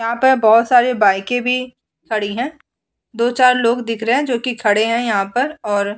यहाँ पे बोहोत सारे बाइके भी खड़ी हैं। दो-चार लोग दिख रहे जो कि खड़े हैं यहाँ पर और --